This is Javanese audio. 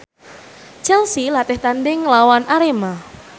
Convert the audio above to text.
Chelsea latih tandhing nglawan Arema